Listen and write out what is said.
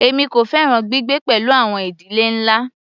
Èmi kò fẹ́ràn gbígbé pẹ̀lú àwọn ìdílé ńlá.